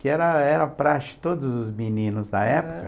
Que era era praste de todos os meninos da época.